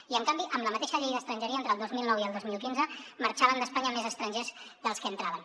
i en canvi amb la mateixa llei d’estrangeria entre el dos mil nou i el dos mil quinze marxaven d’espanya més estrangers dels que entraven